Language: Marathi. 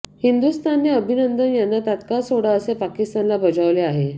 हिंदुस्थानने अभिनंदन यांना तत्काळ सोडा असे पाकिस्तानला बजावले आहे